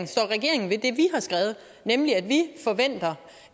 står regeringen ved det vi har skrevet nemlig at vi forventer